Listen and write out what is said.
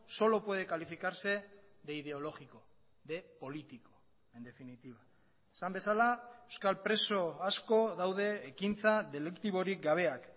solo puede calificarse de ideológico de político en definitiva esan bezala euskal preso asko daude ekintza deliktiborik gabeak